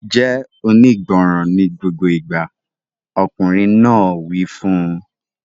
Jẹ́ onígbọràn ní gbogbo ìgbà! Ọkùnrin náà wí fún un.